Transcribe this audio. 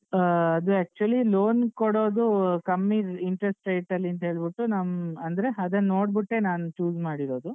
ಆ ಅದು actually loan ಕೊಡೋದು ಕಮ್ಮಿ interest rate ಅಲ್ಲಿ ಅಂತ್ಹೇಳ್ಬಿಟ್ಟು ನಮ್ಮ್ ಅಂದ್ರೆ ಅದನ್ನ್ ನೋಡ್ಬಿಟ್ಟೆ ನಾನ್ choose ಮಾಡಿರೋದು.